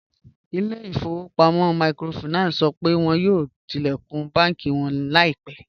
Ilẹ̀-ifọ̀wọ̀pamọ̀ míkrófáìnánsì sọ pé wọn yóò tilẹ̀kún bànki wọn laipẹ